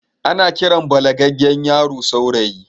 Ana Kiran balagaggen yaro saurayi